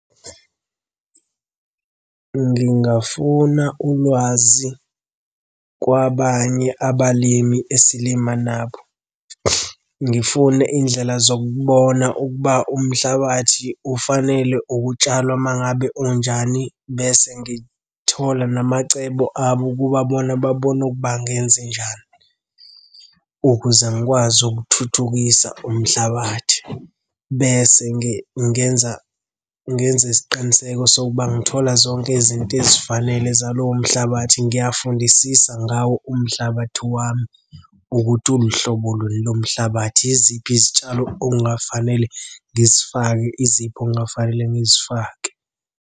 Ngingafuna ulwazi kwabanye abalimi esilima nabo. Ngifune iy'ndlela zokubona ukuba umhlabathi ufanele ukutshalwa uma ngabe unjani bese ngithola namacebo abo ukuba bona babona ukuba ngenzenjani ukuze ngikwazi ukuthuthukisa umhlabathi. Bese ngenza ngenze isiqiniseko sokuba ngithola zonke izinto ezifanele zalowo mhlabathi, ngiyifundisisa ngawo umhlabathi wami ukuthi uluhlobo luni lo mhlabathi. Yiziphi izitshalo okungafanele ngizifake, iziphi okungafanele ngizifake?